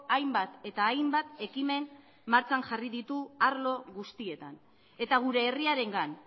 hainbat eta hainbat ekimen martxan jarri ditu arlo guztietan eta gure herriarengan